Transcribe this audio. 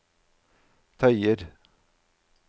tøyer